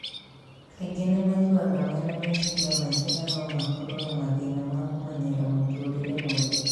Kaingĩ nĩ maiguaga mena meciria maingĩ na no makorwo na mathĩna ma kũmenyera mũtũũrĩre mwerũ.